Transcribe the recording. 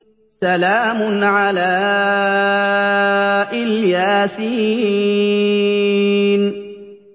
سَلَامٌ عَلَىٰ إِلْ يَاسِينَ